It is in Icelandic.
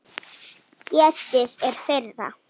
Getið er þeirra.